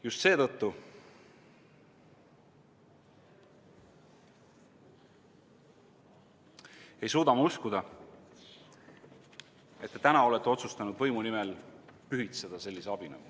Just seetõttu ei suuda ma uskuda, et te täna olete otsustanud võimu nimel pühitseda sellise abinõu.